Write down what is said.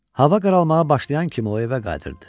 Hava qaralmağa başlayan kimi o evə qayıdırdı.